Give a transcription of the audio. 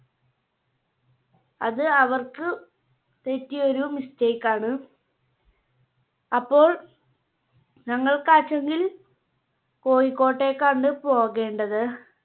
അത് അവർക്ക് പറ്റിയ ഒരു Mistake ണ്. അപ്പോൾ ഞങ്ങൾക്കാ കോഴിക്കോട്ടേക്കാണ് പോകേണ്ടത്.